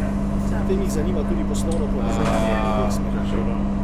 Ob tem jih zanima tudi poslovno povezovanje v obeh smereh.